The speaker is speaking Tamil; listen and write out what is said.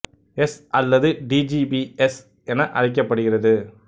எஸ் அல்லது டி ஜி பி எஸ் என அழைக்கப்படுகிறது